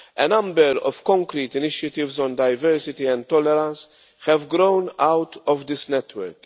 A number of concrete initiatives on diversity and tolerance have grown out of this network.